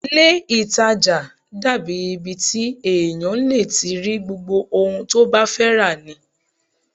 Ilé-ìtàjà dàbí ibi the èèyàn lè ti rí gbogbo ohun tó bá fẹ́ rà ni